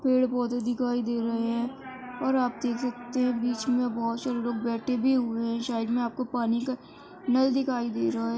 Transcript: पेड़ पौधे दिखाई दे रहे हैं और आप देख सकते हैं बिच में बोहोत सारे लोग बेठे भी हुए हैं। साइड में आपको पानी का नल दिखाई दे रहा है।